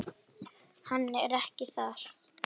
Hann er ekki þar.